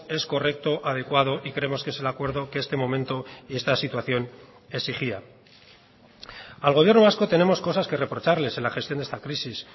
es correcto adecuado y creemos que es el acuerdo que este momento y esta situación exigía al gobierno vasco tenemos cosas que reprocharles en la gestión de esta crisis